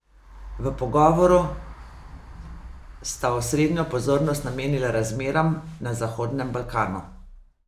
V pogovoru sta osrednjo pozornost namenila razmeram na Zahodnem Balkanu.